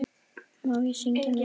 Má ég syngja með ykkur?